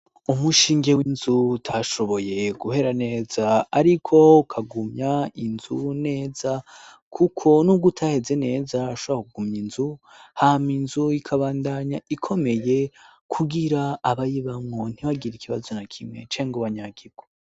Umushinge w'inzu utashoboye guhera neza ,ariko ukagumya inzu neza kuko n'ugo utaheze neza urashoba kugumy' inzu hama inzu ikabandanya ikomeye kugira abayibamwo ntibagira ikibazo na kimwe canke ngo banyagirwe.